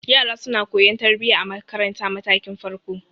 Yara suna koyan tarbiya a marantar matakin farko.